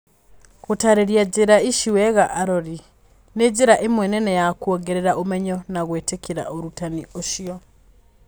Gũtaarĩria njĩra ici wega arori. Nĩ njĩra ĩmwe nene ya kũongerera ũmenyo na gwĩtĩkĩra ũrutani ũcio.